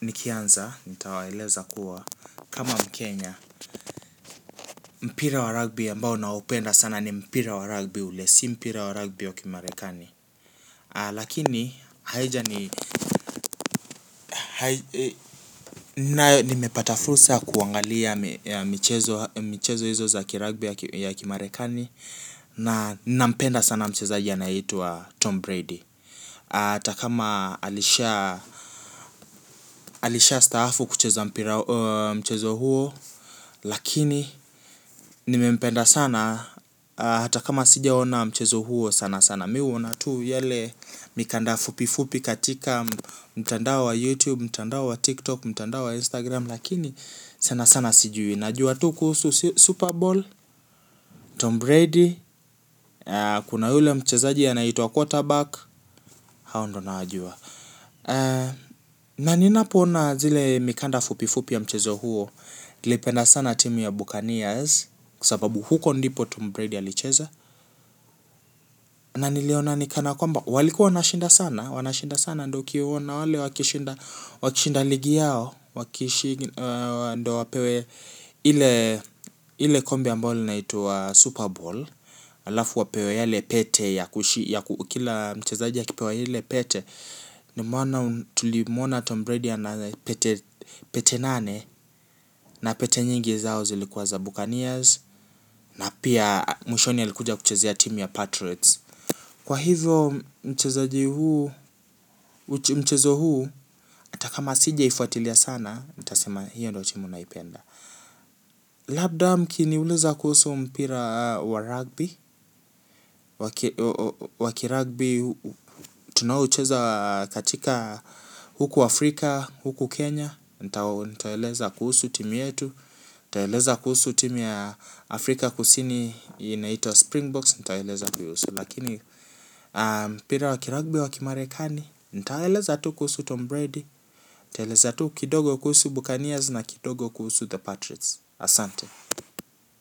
nikianza nitawaeleza kuwa kama Mkenya Mpira wa rugby ambao naupenda sana ni mpira wa rugby ule si mpira wa rugby wa kimarekani lakini haijani nayo nimepata fursa kuangalia michezo hizo za kirugby ya kimarekani na nampenda sana mchezaji anayeitwa Tom Brady hata kama alishaa alishaastaafu kucheza mpira mchezo huo. Lakini nimempenda sana hata kama sijaona mchezo huo sana sana. Mi huona tu yale mikanda fupi fupi katika mtanda wa Youtube, mtandao wa Tiktok, mtandao wa Instagram lakini sana sana sijui. Najua tu kuhusu super bowl. Tom Brady. Kuna yule mchezaji anayeitwa Quarterback. Hao ndio nawajua. Na ninapoona zile mikanda fupi fupi ya mchezo huo. Naipenda sana timu ya Bucaneers kwa sababu huko ndipo Tom Brady alicheza. Na niliona ni kana kwamba walikuwa wanashinda sana wanashinda sana ndo ukiwaona wale wakishinda ligi yao ndo wapewe ile ile kombe ambalo linaitwa Super Bowl. Alafu wapewe yale pete yakushi kila mchezaji akipewa ile pete ndo maana tulimuona Tom Brady ana pete nane na pete nyingi zao zilikuwa za Buccaneers. Pia mwishoni alikuja kuchezea timu ya Patriots kwa hivyo mchezaji huu mchezo huu hata kama sijaifuatilia sana nitasema hiyo ndo timu naipenda. Labda mkiniuliza kuhusu mpira wa rugby wa kirugby tunaoucheza katika huku Afrika huku Kenya nitaeleza kuhusu timu yetu nitaeleza kuhusu timu ya Afrika kusini. Inaitwa Springboks nitaeleza kuihusu. Lakini mpira wa kirugby wa kimarekani nitawaeleza tu kuhusu Tom Brady. Nitaeleza tu kidogo kuhusu Bukanias na kidogo kuhusu The Patriots. Asante.